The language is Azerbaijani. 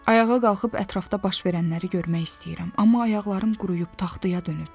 Ayağa qalxıb ətrafda baş verənləri görmək istəyirəm, amma ayaqlarım quruyub, taxtaya dönüb.